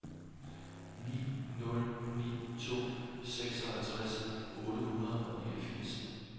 ni nul ni to seksoghalvtreds otte hundrede og niogfirs